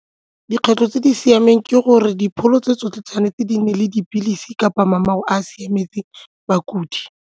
Dikgwetlho tse di siameng ke gore dipholo tse tsotlhe tshwanetse di nne le dipilisi kapa a a siametseng bakudi.